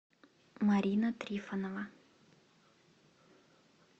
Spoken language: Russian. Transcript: марина трифонова